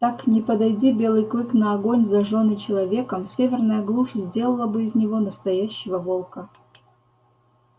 так не подойди белый клык на огонь зажжённый человеком северная глушь сделала бы из него настоящего волка